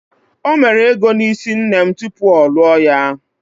O mere ego n'isi nne m tupu ọ lụọ ya